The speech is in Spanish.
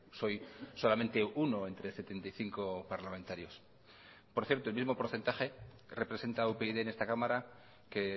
soy solamente uno entre setenta y cinco parlamentarios por cierto el mismo porcentaje representa upyd en esta cámara que